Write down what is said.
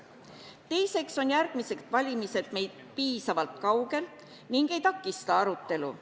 Teiseks on järgmised valimised piisavalt kaugel ega takista arutelu.